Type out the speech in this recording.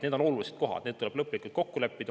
Need on olulised kohad, neis tuleb lõplikult kokku leppida.